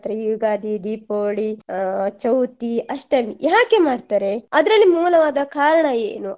ಈ ಯುಗಾದಿ, ದೀಪಾವಳಿ ಅಹ್ ಚೌತಿ, ಅಷ್ಟಮಿ ಯಾಕೆ ಮಾಡ್ತಾರೆ ಅದ್ರಲ್ಲಿ ಮೂಲವಾದ ಕಾರಣ ಏನು.